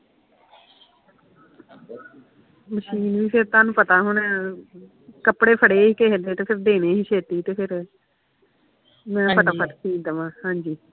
ਹਾਂ ਤੁਹਾਨੂੰ ਪਤਾ ਹੁਣ ਕੱਪੜੇ ਫੜੇ ਹੀ ਕਿਹੇ ਦੇ ਤੇ ਜਲਦੀ ਦੇਣੇ ਸੀ ਮੈਂ ਫਟਾ ਫਟ ਸੀਅ ਦਵਾਂ, ਹਾਂਜੀ